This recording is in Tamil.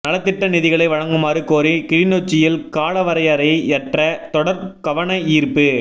நலத்திட்ட நிதிகளை வழங்குமாறு கோரி கிளிநொச்சியில் காலவரையறையற்ற தொடர் கவனயீர்ப்பு